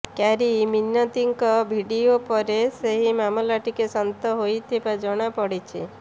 carry ମିନତିଙ୍କ video ପରେ ସେହି ମାମଲା ଟିକେ ଶାନ୍ତ ହେଉଥିବା ଜଣାପଡିଛି